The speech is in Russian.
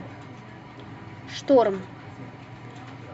шторм